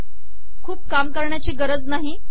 खूप काम करण्याची गरज नाही